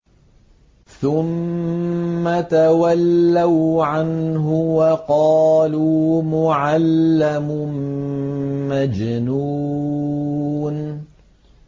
ثُمَّ تَوَلَّوْا عَنْهُ وَقَالُوا مُعَلَّمٌ مَّجْنُونٌ